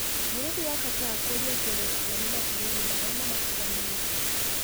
Bũrũri wa Qatar kũria kũrĩhwo nĩ mabũrũri marĩa mamatiganĩirie.